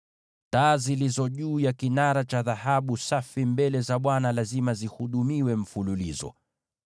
Taa zilizo juu ya kinara cha dhahabu safi mbele za Bwana lazima zihudumiwe daima.